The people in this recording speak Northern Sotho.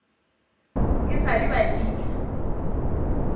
e sa le ba fihla